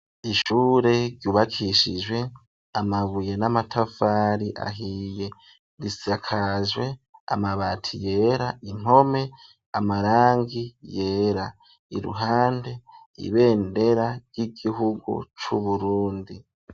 Ishure ryubakishijwe amabuye n'amatafari ahiye, risakajwe amabati yera impome amarangi yera, iruhande ibendera ry'igihugu c'Uburundi.